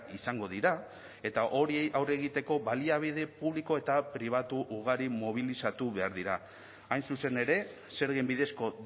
izango dira eta horiei aurre egiteko baliabide publiko eta pribatu ugari mobilizatu behar dira hain zuzen ere zergen bidezko